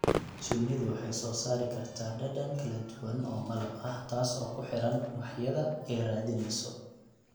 Shinnidu waxay soo saari kartaa dhadhan kala duwan oo malab ah taas oo ku xidhan ubaxyada ay raadinayso.